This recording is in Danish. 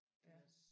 Ja